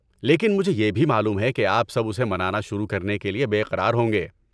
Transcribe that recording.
لیکن مجھے یہ بھی معلوم ہے کہ آپ سب اسے منانا شروع کرنے کے لیے بے قرار ہوں گے۔